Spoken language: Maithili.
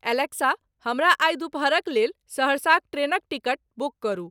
एलेक्सा हमरा आइ दुपहरक लेल सहरसा क ट्रेनक टिकट बुक करू